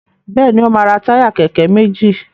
Béèni o ma ra Táyà kéké méjì.